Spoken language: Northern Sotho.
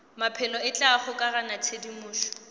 maphelo e tla kgokaganya tshedimošo